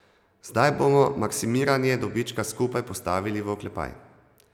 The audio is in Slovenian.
Zdaj bomo maksimiranje dobička skupaj postavili v oklepaj.